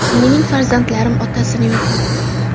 Mening farzandlarim otasini yo‘qotdi.